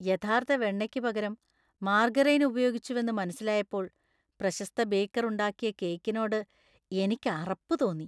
യഥാർത്ഥ വെണ്ണയ്ക്ക് പകരം മാർഗരൈൻ ഉപയോഗിച്ചുവെന്ന് മനസിലായപ്പോൾ , പ്രശസ്ത ബേക്കർ ഉണ്ടാക്കിയ കേക്കിനോട് എനിക്ക് അറപ്പ് തോന്നി .